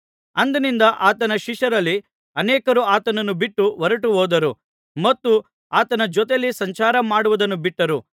ಅಂದಿನಿಂದ ಆತನ ಶಿಷ್ಯರಲ್ಲಿ ಅನೇಕರು ಆತನನ್ನು ಬಿಟ್ಟು ಹೊರಟುಹೋದರು ಮತ್ತು ಆತನ ಜೊತೆಯಲ್ಲಿ ಸಂಚಾರ ಮಾಡುವುದನ್ನು ಬಿಟ್ಟರು